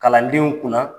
Kalandenw kunna